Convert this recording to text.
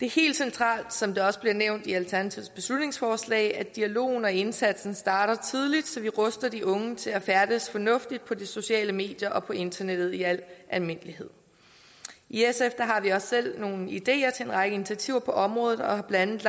helt centralt som der også bliver nævnt i alternativets beslutningsforslag at dialogen og indsatsen starter tidligt så vi ruster de unge til at færdes fornuftigt på de sociale medier og på internettet i al almindelighed i sf har vi også selv nogle ideer til en række initiativer på området og har blandt